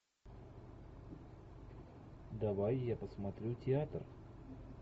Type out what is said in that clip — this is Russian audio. давай я посмотрю театр